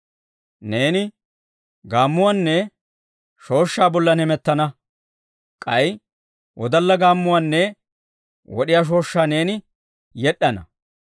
Neeni gaammuwaanne shooshshaa bollan heemettana; k'ay wodalla gaammuwaanne wod'iyaa shooshshaa neeni yed'd'ana.